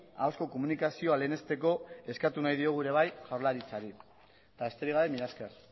ahozko komunikazioa lehenesteko eskatu nahi diogu ere bai jaurlaritzari besterik gabe mila esker